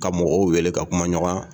Ka mɔgɔw wele ka kumaɲɔgɔnya